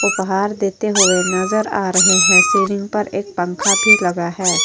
उपहार देते हुए नजर आ रहे हैं। सीलिंग पर एक पंखा भी लगा है।